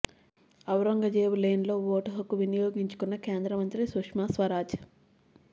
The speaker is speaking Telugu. ఔరంగజేబు లేన్లో ఓటు హక్కు వినియోగించుకున్న కేంద్ర మంత్రి సుష్మా స్వరాజ్